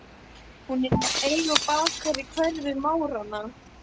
Hún er í eigu bakara í hverfi Máranna.